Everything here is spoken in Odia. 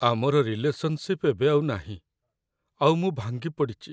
ଆମର ରିଲେସନଶିପ୍ ଏବେ ଆଉ ନାହିଁ, ଆଉ ମୁଁ ଭାଙ୍ଗି ପଡ଼ିଚି ।